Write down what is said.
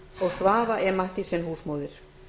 og svava e mathiesen húsmóðir